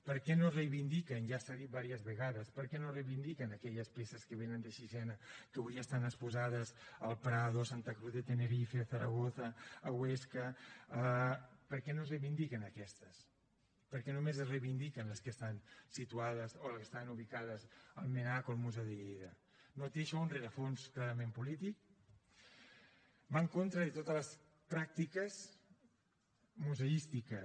per què no es reivindiquen ja s’ha dit vàries vegades aquelles peces que vénen de sixena que avui estan exposades al prado a santa cruz de tenerife a zaragoza a huesca per què no es reivindiquen aquestes per què només es reivindiquen les que estan situades o les que estan ubicades al mnac o al museu de lleida no té això un rerefons clarament polític va en contra de totes les pràctiques museístiques